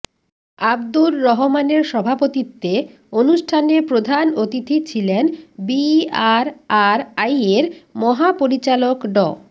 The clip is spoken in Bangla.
আবদুর রহমানের সভাপতিত্বে অনুষ্ঠানে প্রধান অতিথি ছিলেন বিআরআরআইয়ের মহাপরিচালক ড